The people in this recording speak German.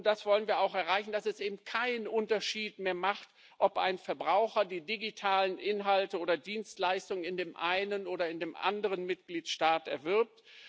Und wir wollen auch erreichen, dass es kein Unterschied mehr macht, ob ein Verbraucher die digitalen Inhalte oder Dienstleistungen in dem einen oder in dem anderen Mitgliedstaat erwirbt.